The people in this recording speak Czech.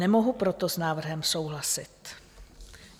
Nemohu proto s návrhem souhlasit.